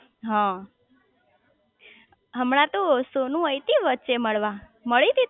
હ હમણાં તો સોનુ આઈ તી વચ્ચે મળવા મળી તી